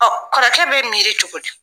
kɔrɔkɛ be miiri cogo di ?